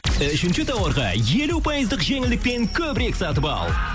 үшінші тауарға елу пайыздық жеңілдікпен көбірек сатып ал